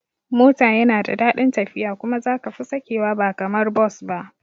Mota yana da dadin tafiya kuma za kafi sakewa ba kamar Bus ba